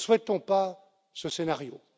Nous ne souhaitons pas ce scénario.